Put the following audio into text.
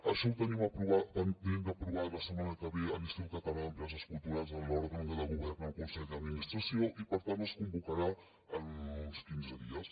això ho tenim pendent d’aprovar la setmana que ve a l’institut català de les empreses culturals en l’òrgan de govern el consell d’administració i per tant es convocarà en uns quinze dies